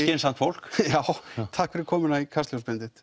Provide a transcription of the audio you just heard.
skynsamt fólk já takk fyrir komuna í Kastljós Benedikt